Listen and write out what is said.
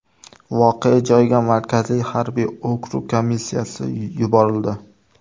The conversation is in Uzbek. Voqea joyiga Markaziy harbiy okrug komissiyasi yuborildi.